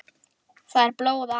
þAÐ ER BLÓÐ AF